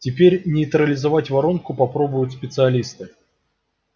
теперь нейтрализовать воронку попробуют специалисты